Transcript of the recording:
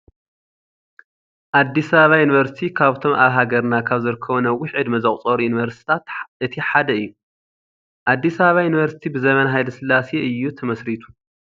ኣዲስ ኣበባ ዩኒቨርሲቲ ካብቶም ኣብ ሃገርና ካብ ዝርከቡ ነዊሕ ዕድመ ዘቁፀሩ ዩኒቨርሲትታት እቲ ሓደ እዩ። ኣዲስ ኣበባ ዩኒቨርሲቲ ብዘበን ሃይለ ስላሴ እዩ ተመሲሪቱ።